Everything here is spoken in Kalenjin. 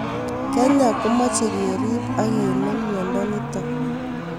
Kenyaa ko mache kerip ak kenem miodo nitok